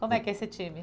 Como é que é esse time?